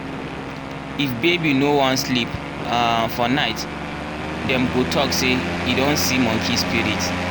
if baby no wan sleep um for night dem go talk say e don see monkey spirit.